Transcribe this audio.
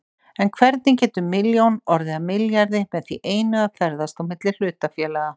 En hvernig getur milljón orðið að milljarði með því einu að ferðast á milli hlutafélaga?